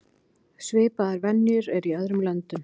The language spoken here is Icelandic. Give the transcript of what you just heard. Svipaðar venjur eru í öðrum löndum.